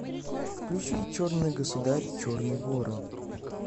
включи черный государь черный ворон